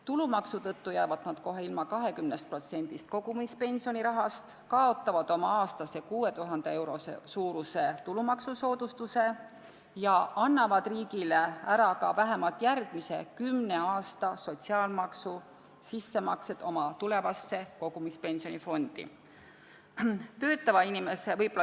Tulumaksu tõttu jäävad nad kohe ilma 20% kogumispensionirahast, ka kaotavad nad oma aastase 6000 euro suuruse tulumaksusoodustuse ja annavad riigile ära ka vähemalt järgmise kümne aasta sotsiaalmaksu sissemaksed oma tulevasse kogumispensionifondi.